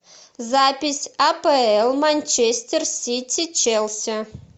запись апл манчестер сити челси